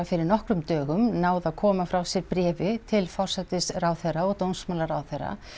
fyrir nokkrum dögum náð að koma frá sér bréfi til forsætisráðherra og dómsmálaráðherra